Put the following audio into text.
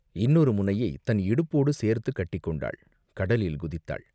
இன்னொரு முனையைத் தன் இடுப்போடு சேர்த்துக் கட்டிக்கொண்டாள், கடலில் குதித்தாள்.